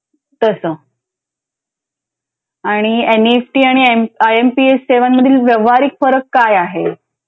तसं. आणि N E F T आणि I M I M P S सेवा मधील व्यवहारिक फरक काय आहे?